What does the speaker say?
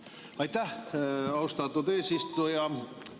Aitäh, austatud eesistuja!